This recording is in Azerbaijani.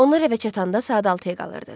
Onlar rəbə çatanda saat 6-ya qalırdı.